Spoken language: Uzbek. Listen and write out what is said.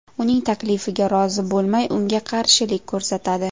uning taklifiga rozi bo‘lmay unga qarshilik ko‘rsatadi.